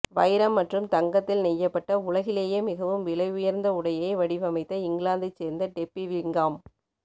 வைரம் மற்றும் தங்கத்தில் நெய்யப்பட்ட உலகிலேயே மிகவும் விலை உயர்ந்த உடையை வடிவமைத்த இங்கிலாந்தைச் சேர்ந்த டெப்பி விங்காம்